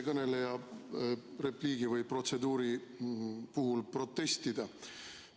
Ma soovin eelmise kõneleja protseduurilise repliigi peale protestida.